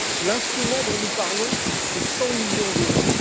L'instrument dont nous parlons, c'est 100 millions d'euros.